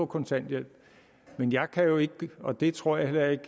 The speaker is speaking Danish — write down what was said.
kontanthjælp jeg kan jo ikke og det tror jeg heller ikke